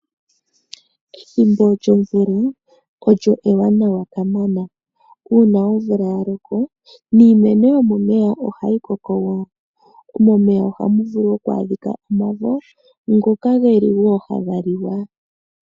Ethimbo lyomvula olyo ewanawa kamana. Uuna omvula ya loko niimeno yomomeya ohayi koko wo. Momeya ohamu vulu oku adhika omavo ngoka wo haga liwa.